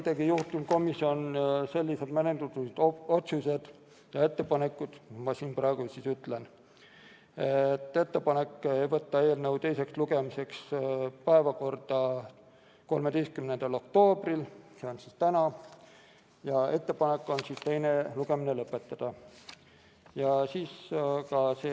Juhtivkomisjon tegi ettepaneku võtta eelnõu teiseks lugemiseks päevakorda 13. oktoobriks, see on siis tänaseks, ja ettepanek on teine lugemine lõpetada.